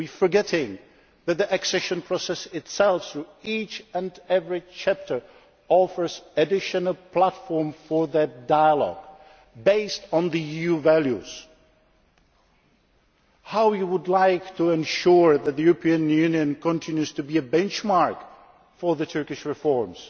We are forgetting that the accession process itself, through each and every chapter, offers an additional platform for that dialogue, based on EU values how you would like to ensure that the European Union continues to be a benchmark for Turkish reforms.